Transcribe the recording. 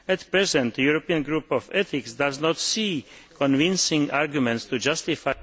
At present, the European Group of Ethics does not see convincing arguments to justify